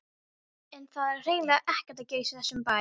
En það er hreinlega ekkert að gerast í þessum bæ.